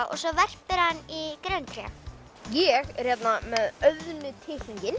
og svo verpir hann í grenitré ég er hérna með